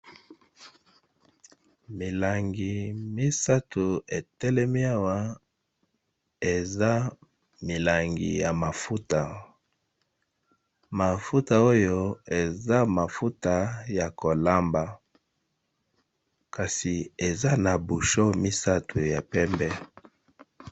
Milangi misato etelemiawa eza milangi ya mafuta mafuta oyo eza mafuta ya kolamba kasi eza na busho misato ya pembe.